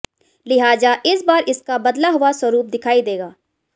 लिहाजा इस बार इसका बदला हुआ स्वरूप दिखाई देगा